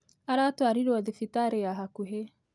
Aratwarirwo thibitari ya hakuhĩ